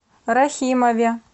рахимове